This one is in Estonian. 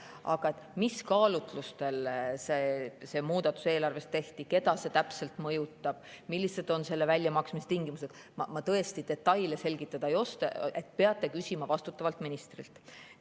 Aga neid detaile, mis kaalutlustel see muudatus eelarves tehti, keda see täpselt mõjutab, millised on selle väljamaksmise tingimused, ma tõesti selgitada ei oska, peate küsima vastutavalt ministrilt.